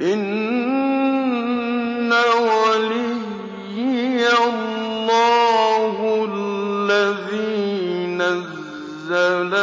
إِنَّ وَلِيِّيَ اللَّهُ الَّذِي نَزَّلَ